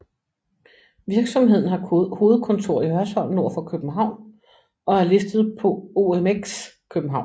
Virksomheden har hovedkontor i Hørsholm nord for København og er listet på OMX København